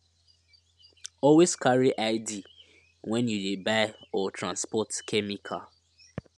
always carry id when you dey buy or transport chemical